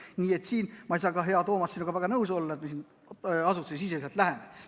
Nii et siin ma ei saa, hea Toomas, sinuga väga nõus olla, et me siin asutusesiseselt läheneme.